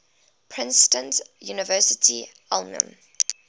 princeton university alumni